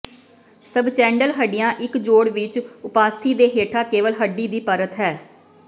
ਸਬਚੈਂੰਡਲ ਹੱਡੀਆਂ ਇੱਕ ਜੋੜ ਵਿੱਚ ਉਪਾਸਥੀ ਦੇ ਹੇਠਾਂ ਕੇਵਲ ਹੱਡੀ ਦੀ ਪਰਤ ਹੈ